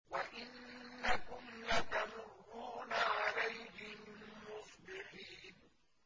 وَإِنَّكُمْ لَتَمُرُّونَ عَلَيْهِم مُّصْبِحِينَ